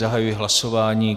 Zahajuji hlasování.